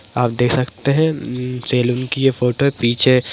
आप देख सकते है ऊ ऊ सैलून की ये फोटो है पीछे --